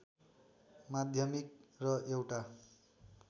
माध्यमिक र एउटा